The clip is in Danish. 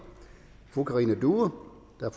fru karina due